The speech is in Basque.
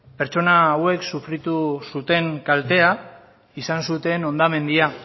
pertsona hauek sufritu zuten kaltea izan zuten hondamendia